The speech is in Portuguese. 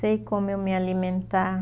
Sei como eu me alimentar.